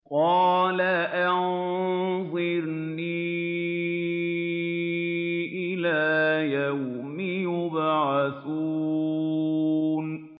قَالَ أَنظِرْنِي إِلَىٰ يَوْمِ يُبْعَثُونَ